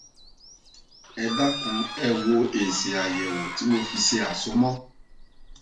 ẹ dákun ẹ wo èsì àyèwò tí mo fi ṣe àsomọ